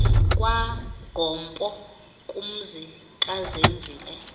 kwagompo kumzi kazenzile